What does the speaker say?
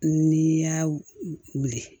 Ni y'a wuli